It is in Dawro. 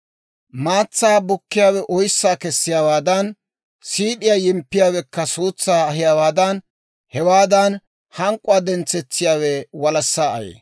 Maatsaa bukkiyaawe oyssaa kessiyaawaadan, siid'iyaa yimppiyaawekka suutsaa ahiyaawaadan, hewaadan hank'k'uwaa dentsetsiyaawe walassaa ayee.